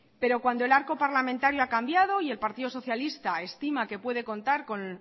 pero cuando el arco parlamentario ha cambiado y el partido socialista estima que puede contar con